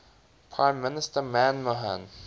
prime minister manmohan